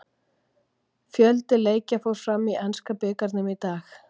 Fjöldi leikja fór fram í enska bikarnum í dag.